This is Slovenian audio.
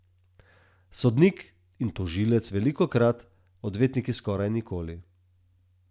Sodnik in tožilec velikokrat, odvetnik skoraj nikoli.